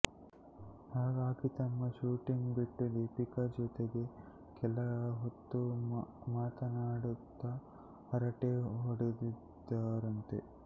ಹಾಗಾಗಿ ತಮ್ಮ ಶೂಟಿಂಗ್ ಬಿಟ್ಟು ದೀಪಿಕಾ ಜತೆಗೆ ಕೆಲ ಹೊತ್ತು ಮಾತನಾಡುತ್ತಾ ಹರಟೆ ಹೋಡೆದಿದ್ದಾರಂತೆ